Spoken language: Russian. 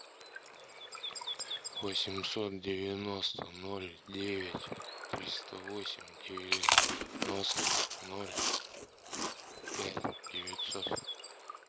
восемьсот девяносто ноль девять триста восемь девяносто ноль пять девятьсот